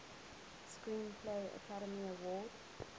screenplay academy award